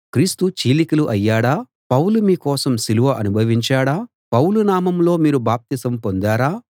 క్రీస్తు చీలికలు అయ్యాడా పౌలు మీ కోసం సిలువ అనుభవించాడా పౌలు నామంలో మీరు బాప్తిసం పొందారా